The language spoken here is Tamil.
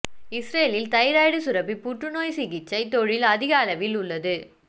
இஸ்ரேலில் தைராய்டு சுரப்பி புற்றுநோய் சிகிச்சை தொழில் அதிக அளவில் உள்ளது